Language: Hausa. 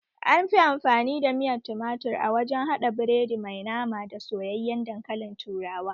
Anfi amfani da miyar tumatir a wajen haɗa biredi mai nama da soyayyen dankalin turawa